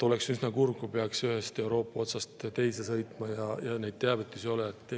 Oleks üsna kurb, kui peaks ühest Euroopa otsast teise sõitma ja neid teavitusi ei oleks.